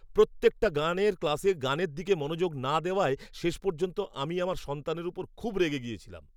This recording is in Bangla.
প্রত্যেকটা গানের ক্লাসে গানের দিকে মনোযোগ না দেওয়ায় শেষ পর্যন্ত আমি আমার সন্তানের উপর খুব রেগে গিয়েছিলাম।